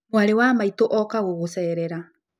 Mwarĩ wa maitũ oka gũgũcerera